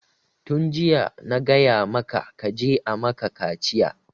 Tun jiya na gaya maka kaje a maka kaciya!